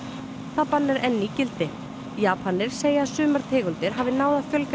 það bann er enn í gildi Japanir segja að sumar tegundir hafi náð að fjölga